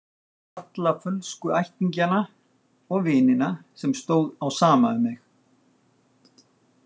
Alla fölsku ættingjana og vinina sem stóð á sama um mig.